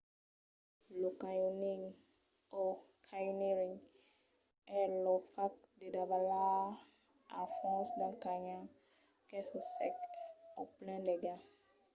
lo canyoning o: canyoneering es lo fach de davalar al fons d'un canyon qu'es o sec o plen d'aiga